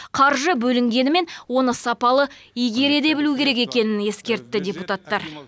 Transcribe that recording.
қаржы бөлінгенімен оны сапалы игере де білу керек екенін ескертті депутаттар